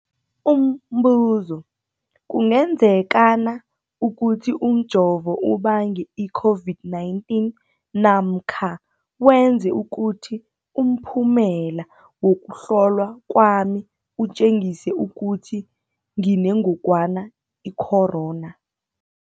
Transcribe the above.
Umbuzo, kungenzekana ukuthi umjovo ubange i-COVID-19 namkha wenze ukuthi umphumela wokuhlolwa kwami utjengise ukuthi nginengogwana i-corona?